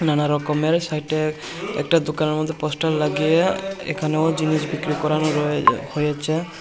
নানারকমের সাইট -এ একটা দোকানের মধ্যে পোস্টার লাগিয়ে এখানেও জিনিস বিক্রি করানো রয়ে হয়েছে।